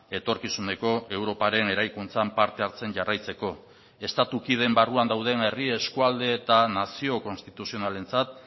etorkizuneko europaren eraikuntzan parte hartzen jarraitzeko estatu kideen barruan dauden herri eskualde eta nazio konstituzionalentzat